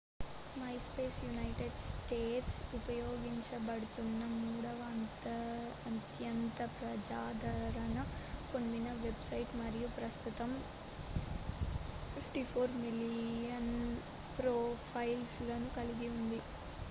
మైస్పేస్ United States ఉపయోగించబడుతున్న మూడవ అత్యంత ప్రజాదరణ పొందిన వెబ్సైట్ మరియు ప్రస్తుతం 54 మిలియన్ ప్రొఫైల్లను కలిగి ఉంది